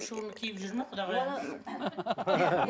шубаны киіп жүр ме құдағайыңыз